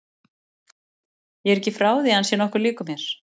Ég er ekki frá því að hann sé nokkuð líkur mér.